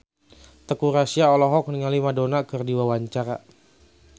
Teuku Rassya olohok ningali Madonna keur diwawancara